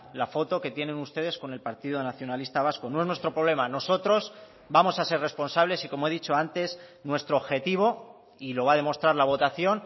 la foto que tienen ustedes con el partido nacionalista vasco no es nuestro problema nosotros vamos a ser responsables y como he dicho antes nuestro objetivo y lo va a demostrar la votación